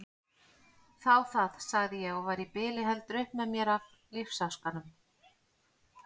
Þá það, sagði ég og var í bili heldur upp með mér af lífsháskanum.